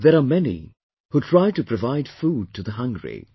There are many who try to provide food to the hungry